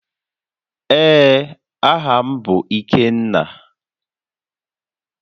Ee, aha m bu Ikenna